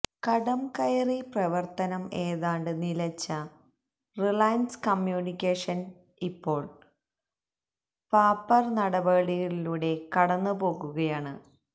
കടംകയറി പ്രവര്ത്തനം ഏതാണ്ട് നിലച്ച റിലയന്സ് കമ്യൂണിക്കേഷന് ഇപ്പോള് പാപ്പര് നടപടികളിലൂടെ കടന്നു പോകുകയാണ്